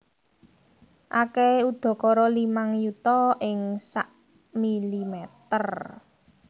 Akèhé udakara limang yuta ing sak mm